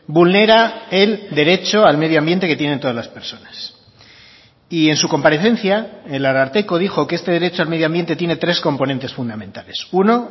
vulnera el derecho al medioambiente que tienen todas las personas y en su comparecencia el ararteko dijo que este derecho al medioambiente tiene tres componentes fundamentales uno